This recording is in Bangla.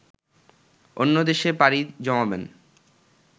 অন্য দেশে পাড়ি জমাবেন